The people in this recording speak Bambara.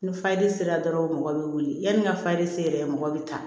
Ni fajiri sera dɔrɔn mɔgɔ bɛ wuli yanni n ka fali se yɛrɛ mɔgɔ bɛ ta